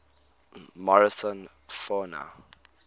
morrison fauna